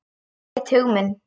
Hún veit hug minn.